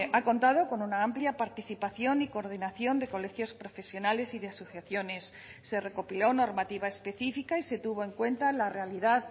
ha contado con una amplia participación y coordinación de colegios profesionales y de asociaciones se recopiló normativa específica y se tuvo en cuenta la realidad